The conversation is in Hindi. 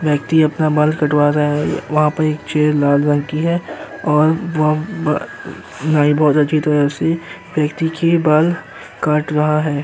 व्यक्ति अपना बाल कटवा रहा है वहाँ पे एक चेयर लाल रंग की है और वह व नाई बहोत अच्छी तरह से व्यक्ति के बाल काट रहा है।